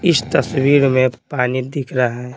इस तस्वीर में पानी दिख रहा है।